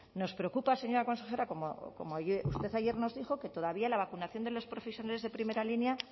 nos preocupa señora consejera como usted ayer nos dijo que todavía la vacunación de los profesionales de primera línea